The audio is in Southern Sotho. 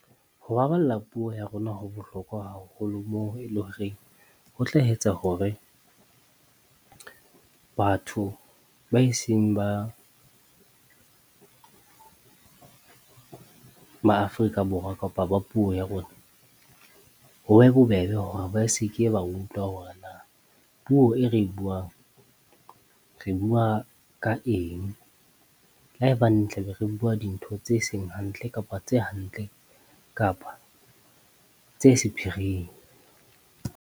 Ho baballa puo ya rona ho bohlokwa haholo, moo e le horeng, ho tla etsa hore batho ba e seng ba ma Afrika Borwa kapa ba puo ya rona. Ho be bobebe hore ba seke ba utlwa hore na puo e re buang, re bua ka eng? Le ha e baneng tla be re bua dintho tse seng hantle kapa tse hantle kapa tse sephiring.